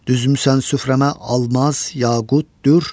Düzmüsən süfrəmə almaz, yaqut, dür.